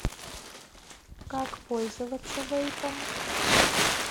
как пользоваться вейпом